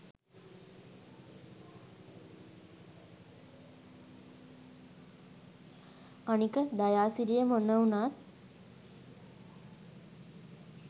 අනික දයාසිරියමොන උනත්